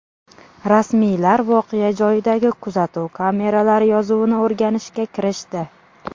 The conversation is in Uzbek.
Rasmiylar voqea joyidagi kuzatuv kameralari yozuvini o‘rganishga kirishdi.